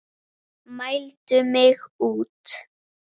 Mældi mig út.